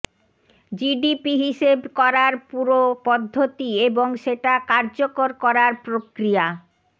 GDP হিসেব করার পুরো পদ্ধতি এবং সেটা কার্যকর করার প্রক্রিয়া